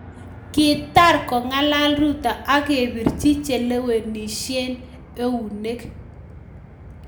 Kitar kongalal Ruto akirapach chelewenishei eunek